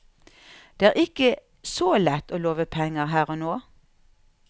Det er ikke så lett å love penger her og nå.